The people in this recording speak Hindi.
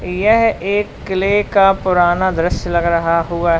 यह एक किले का पुराना दृश्य लग रहा हुआ है।